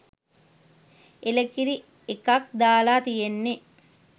එළකිරි එකක් දාලා තියෙන්නෙ.